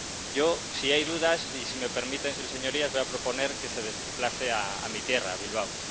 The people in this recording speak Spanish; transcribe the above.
Yo, si hay dudas, y si me permiten sus Señorías, voy a proponer que se desplace a mi tierra, a Bilbao.